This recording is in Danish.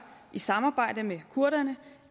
i samarbejde med kurderne